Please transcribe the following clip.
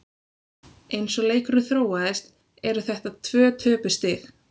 Eins og leikurinn þróaðist eru þetta tvö töpuð stig.